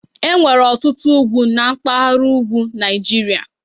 Enwere ọtụtụ ugwu na mpaghara ugwu Nigeria.